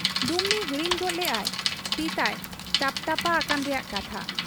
ᱰᱩᱢᱱᱤ ᱦᱤᱲᱤᱧ ᱜᱚᱫ ᱞᱮᱜ ᱟᱭ ᱛᱤᱛᱟᱭ ᱴᱟᱯᱴᱟᱯᱟ ᱟᱠᱟᱱ ᱨᱮᱭᱟᱜ ᱠᱟᱛᱷᱟ ᱾